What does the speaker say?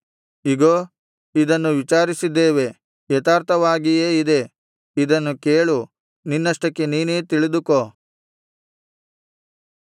ಇಗೋ ಇದನ್ನು ವಿಚಾರಿಸಿದ್ದೇವೆ ಯಥಾರ್ಥವಾಗಿಯೇ ಇದೆ ಇದನ್ನು ಕೇಳು ನಿನ್ನಷ್ಟಕ್ಕೆ ನೀನೇ ತಿಳಿದುಕೋ